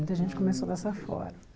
Muita gente começou dessa forma.